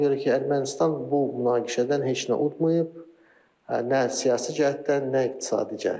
Ona görə ki, Ermənistan bu münaqişədən heç nə udmayıb, nə siyasi cəhətdən, nə iqtisadi cəhətdən.